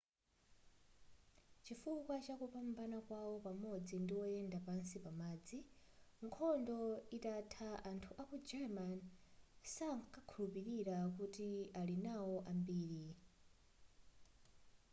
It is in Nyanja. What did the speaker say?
chifukwa chakupambana kwawo pamodzi ndi oyenda pansi pamadzi nkhondo itatha anthu aku german sakukhulupilidwa kuti ali nawo ambiri